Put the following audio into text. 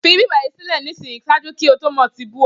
fi ibi bayi sile nisin, ṣaaju ki o to mo ti bú ọ!